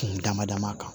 Kun dama dama kan